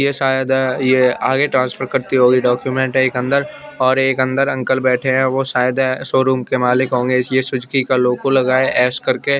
यह शायद यह आगे ट्रांसफर करती होगी डॉक्यूमेंट एक अंदर और एक अंदर अंकल बैठे हैं वह शायद शोरूम के मालिक होंगे इसलिए सुजुकी का लोगो लगे एस करके--